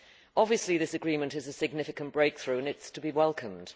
Obviously this agreement is a significant breakthrough and it is to be welcomed.